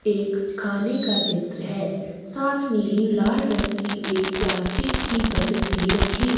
एक खाने का चित्र है साथ में ही लाल रंग की एक प्लास्टिक की बकेट भी रखी हु --